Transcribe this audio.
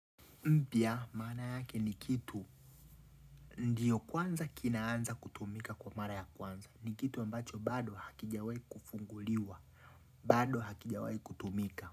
Mpya, mana yake ni kitu, ndiyo kwanza kinaanza kutumika kwa mara ya kwanza, ni kitu ambacho bado hakijawai kufunguliwa, bado hakijawai kutumika.